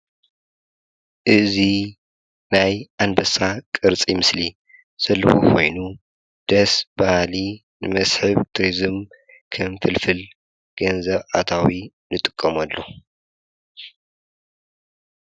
እዙይ ናይ ኣንበሳ ቅርፂ ምስሊ ዘለኹ ኾይኑ ደስ ባሃሊ ንመስሕብ ቲሪዝም ከም ፍልፍል ገንዘብ ኣታዊ ንጥቀምሉ።